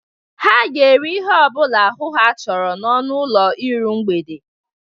Ha ga-eri ihe ọ bụla ahụ ha chọrọ n'ọnụ ụlọ iru mgbede.